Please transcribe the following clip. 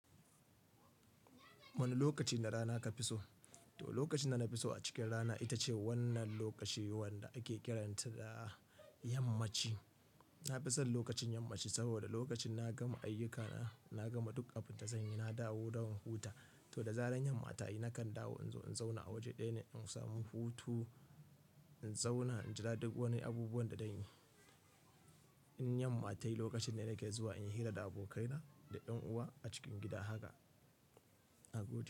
Wani lokaci na rana ka fi so? To lokacin da na fi so a cikin rana ita ce wannan lokaci wanda ake kiranta da yammaci. Na fi son lokacin yammaci saboda lokacin na gama ayyukana, na gama duk abin da zan yi, na dawo don huta. To da zaran yan mata yi nakan dawo in zo in zauna a waje ɗaya ne in samu hutu, in zauna in jira duk wani abubuwan da zan yi. In yamma ta yi lokacin ne da nake zuwa in yi hira da abokaina da ƴan uwa a cikin gida haka a godo.